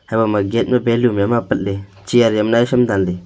hebo ma gate balon yama apat ley chiya ajam naisam danley.